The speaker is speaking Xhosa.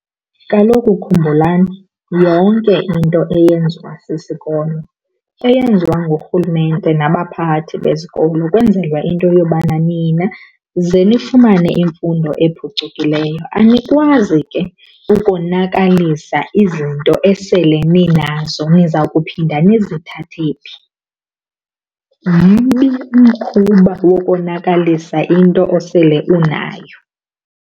Kaloku khumbulani yonke into eyenziwa sisikolo, eyenziwa ngurhulumente nabaphathi besikolo kwenzelwa into yobana nina ze nifumane imfundo ephucukileyo. Anikwazi ke ukonakalisa izinto esele ninazo. Niza kuphinda nizithathe phi? Mbi umkhuba wokonakalisa into osele unayo.